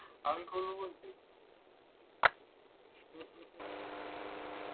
আমি করবো বলছিস?